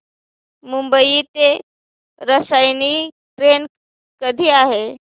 मुंबई ते रसायनी ट्रेन कधी आहे